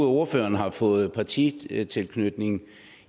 ordføreren har fået partitilknytning